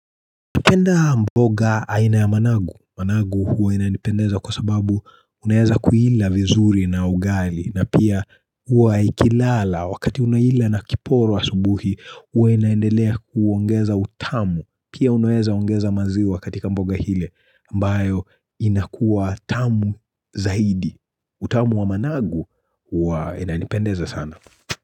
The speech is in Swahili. Napenda mboga aina ya managu. Managu huwa inanipendeza kwa sababu unaweza kuila vizuri na ugali na pia huwa ikilala wakati unaila na kiporo asubuhi huwa inaendelea kuongeza utamu. Pia unaweza ongeza maziwa katika mboga ile ambayo inakuwa tamu zaidi. Utamu wa managu huwa inanipendeza sana.